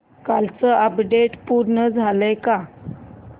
कालचं अपडेट पूर्ण झालंय का